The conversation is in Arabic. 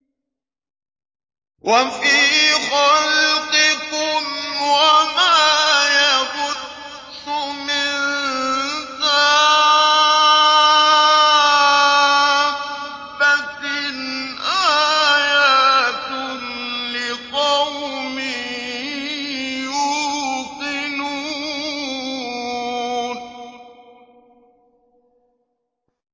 وَفِي خَلْقِكُمْ وَمَا يَبُثُّ مِن دَابَّةٍ آيَاتٌ لِّقَوْمٍ يُوقِنُونَ